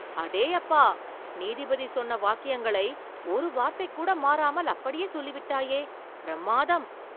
அடேயப்பா! நீதிபதி சொன்ன வாக்கியங்களை ஒரு வார்த்தைக்கூட மாறாமல் அப்படியே சொல்லிவிட்டாயே.. பிரம்மாதம்!